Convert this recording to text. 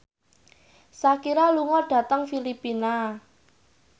Shakira lunga dhateng Filipina